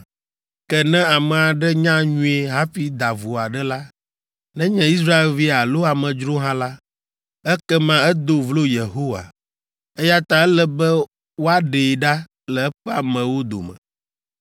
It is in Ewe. “ ‘Ke ne ame aɖe nya nyuie hafi da vo aɖe la, nenye Israelvi alo amedzro hã la, ekema edo vlo Yehowa, eya ta ele be woaɖee ɖa le eƒe amewo dome.